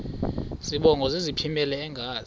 zibongo zazlphllmela engazi